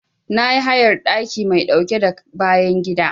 Na yi hayar ɗaki mai ɗauke da bayan gida.